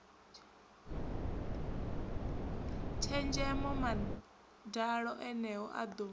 tshenzhemo madalo eneo a ḓo